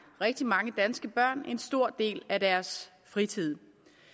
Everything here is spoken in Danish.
rigtig mange danske børn en stor del af deres fritid